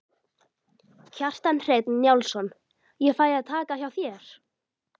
Kjartan Hreinn Njálsson: Ég fæ að taka hjá þér?